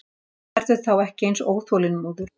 Hann verður þá ekki eins óþolinmóður.